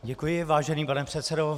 Děkuji, vážený pane předsedo.